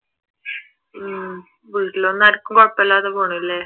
ഉം വീട്ടിലൊന്നും ആർക്കും കുഴപ്പമില്ലാതെ പോണു അല്ലെ